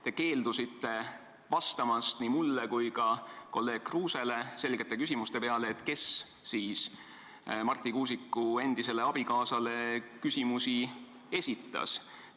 Te keeldusite vastamast nii minu kui ka kolleeg Kruuse selgele küsimusele, kes siis Marti Kuusiku endisele abikaasale küsimusi esitas.